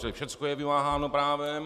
Čili všechno je vymáháno právem.